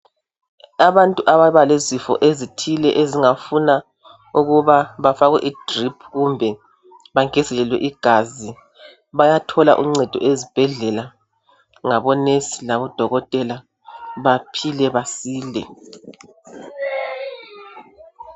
Abantu ababa lezifo ezithile ezingafuna ukuba bafakwe idrip kumbe bangezelelwe igazi bayathola uncedo ezibhedlela ngabo nurse labodokotela baphile basile.